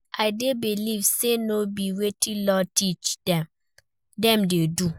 I dey believe say no be wetin law teach dem, dem dey do.